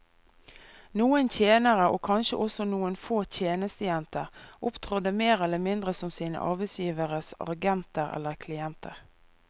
Noen tjenere, og kanskje også noen få tjenestejenter, opptrådte mer eller mindre som sine arbeidsgiveres agenter eller klienter.